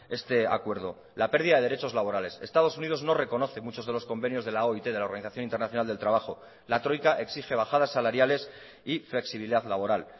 este acuerdo la pérdida de derechos laborales estados unidos no reconoce muchos de los convenios de la oit de la organización internacional del trabajo la troika exige bajadas salariales y flexibilidad laboral